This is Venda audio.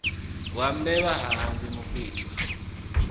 wa mbevha ha hangwi mukwita